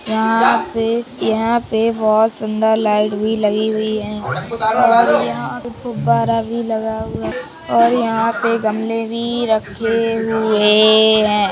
यहाँ पे - यहाँ पे बहुत सुंदर लाइट भी लगी हुई हैं और यहाँ पे फुव्वारा भी लगा हुआ हैं और यहाँ पे गमले भी रखे हुए हैं।